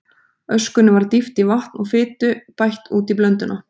Öskunni var dýft í vatn og fitu bætt útí blönduna.